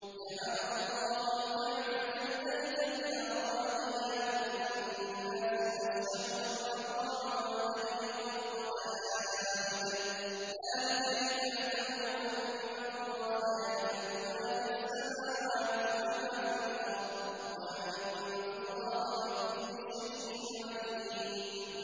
۞ جَعَلَ اللَّهُ الْكَعْبَةَ الْبَيْتَ الْحَرَامَ قِيَامًا لِّلنَّاسِ وَالشَّهْرَ الْحَرَامَ وَالْهَدْيَ وَالْقَلَائِدَ ۚ ذَٰلِكَ لِتَعْلَمُوا أَنَّ اللَّهَ يَعْلَمُ مَا فِي السَّمَاوَاتِ وَمَا فِي الْأَرْضِ وَأَنَّ اللَّهَ بِكُلِّ شَيْءٍ عَلِيمٌ